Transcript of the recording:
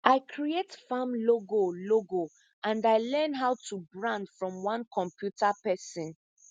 i create farm logo logo and i learn how to brand from one computer person